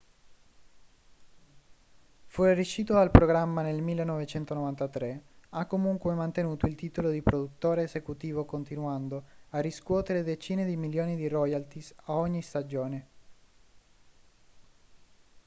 fuoriuscito dal programma nel 1993 ha comunque mantenuto il titolo di produttore esecutivo continuando a riscuotere decine di milioni in royalties a ogni stagione